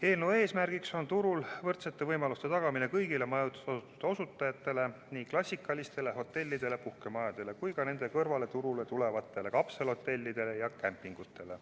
Eelnõu eesmärk on turul võrdsete võimaluste tagamine kõigile majutusteenuse osutajatele, nii klassikalistele hotellidele ja puhkemajadele kui ka nende kõrvale turule tulevatele kapselhotellidele ja kämpingutele.